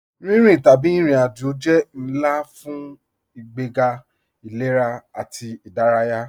Rínrín tabí irin-ájò jẹ́ nlá fun ìgbègá ilẹ̀rà ati ìdáràyà.